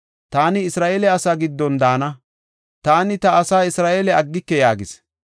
Taani Isra7eele asaa giddon daana; taani ta asaa Isra7eele aggike” yaagis.